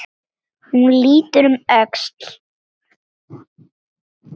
Hún lítur um öxl.